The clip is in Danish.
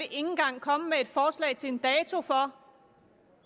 engang komme med et forslag til en dato for